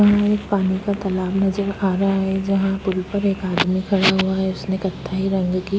यहाँ एक पानी का तालाब नजर आ रहा है। जहां पूल पर एक आदमी खड़ा हुआ है। उसने कथई रंग की --